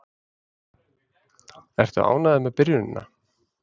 Ertu ánægður með byrjunina?